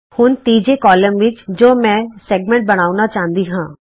ਹੁਣ ਤੀਜੇ ਕਾਲਮ ਵਿਚ ਜੇ ਮੈਂ ਰੇਖਾਖੰਡ ਬਣਾਉਣਾ ਚਾਹੁੰਦੀ ਹਾਂ